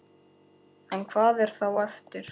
En hvað er þá eftir?